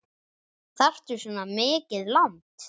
Þarftu svona mikið land?